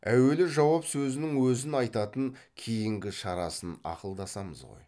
әуелі жауап сөзінің өзін айтайын кейінгі шарасын ақылдасамыз ғой